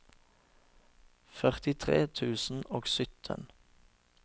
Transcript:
førtitre tusen og sytten